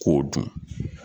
K'o dun